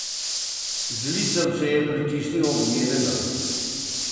Z licem se je pritisnil ob njenega.